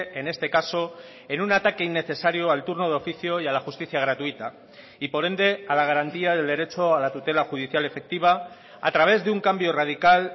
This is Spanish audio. en este caso en un ataque innecesario al turno de oficio y a la justicia gratuita y por ende a la garantía del derecho a la tutela judicial efectiva a través de un cambio radical